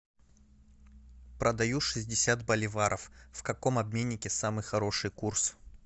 продаю шестьдесят боливаров в каком обменнике самый хороший курс